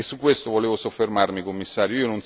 E su questo volevo soffermarmi, Commissario.